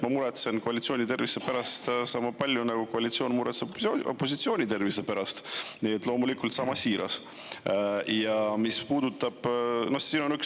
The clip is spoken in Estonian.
Ma muretsen koalitsiooni tervise pärast sama palju, nagu koalitsioon muretseb opositsiooni tervise pärast, nii et loomulikult sama siiralt.